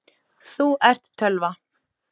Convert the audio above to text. Þú ert tölva.